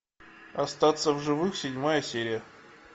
остаться в живых седьмая серия